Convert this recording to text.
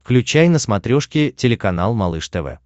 включай на смотрешке телеканал малыш тв